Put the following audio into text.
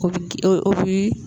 O bi